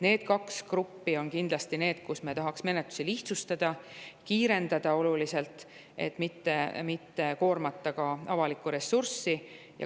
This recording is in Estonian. Need kaks gruppi on need, kelle puhul me tahaks menetlusi lihtsustada ja oluliselt kiirendada, et mitte koormata ka avalikku ressurssi.